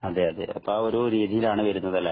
അതെയതെ, അപ്പൊ ആ ഒരു രീതിയിലാണ് വരുന്നത് അല്ലേ.